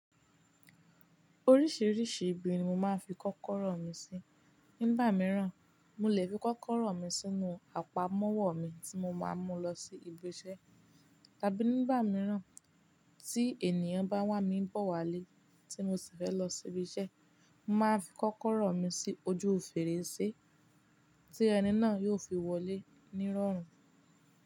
Oríṣiríṣi ibi ni mo máa ń fi kọ́kọ́rọ́ mi sí. Nígbà mìíràn, mo lè fi kọ́kọ́rọ́ mi sínú àpamọ́wọ́ mi tí mo máa ń mú lọ sí ibi iṣẹ́. Tàbí nígbà mìíràn tí ènìyàn bá wá mi bọ̀ wá lé tí mo sì fẹ́ lọ sí ibi iṣẹ́, mo máa fi kọ́kọ́rọ́ mi sí ojú fèrèsé tí ẹni náà yóò fi wọlé ní rọrùn.